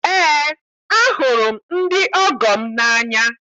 Eé, ahụrụ m ndị ọgọ m n'anya